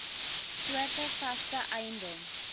soorte vaste eiendom